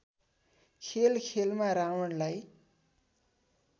खेल खेलमा रावणलाई